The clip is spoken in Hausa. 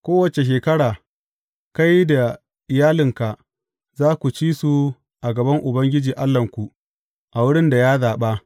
Kowace shekara, kai da iyalinka za ku ci su a gaban Ubangiji Allahnku, a wurin da ya zaɓa.